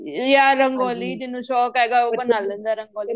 ਜਾਂ ਰੰਗੋਲੀ ਜਿਹਨੂੰ ਸ਼ੋਂਕ ਹੈਗਾ ਉਹ ਬਣਾ ਲੈਂਦਾ ਰੰਗੋਲੀ